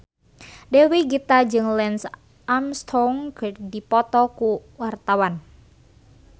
Dewi Gita jeung Lance Armstrong keur dipoto ku wartawan